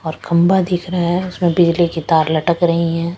औरखबा दिख रहा है उसमें बिजली की तार लटक रही हैं।